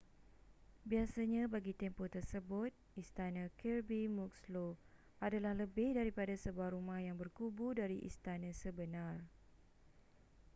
biasanya bagi tempoh tersebut istana kirby muxloe adalah lebih daripada sebuah rumah yang berkubu dari istana sebenar